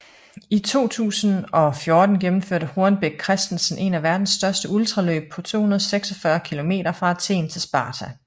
I 2014 gennemførte Hornbech Christensen en af verdens største ultraløb på 246 km fra Athen til Sparta